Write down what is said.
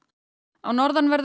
á norðanverðum